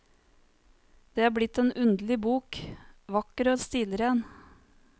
Det er blitt en underlig bok, vakker og stilren.